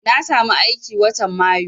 Na samu aiki watan mayu